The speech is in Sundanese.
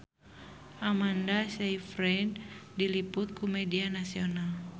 Amanda Sayfried diliput ku media nasional